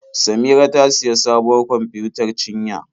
Samira ta sayi sabuwar kwamfiyutar cinya.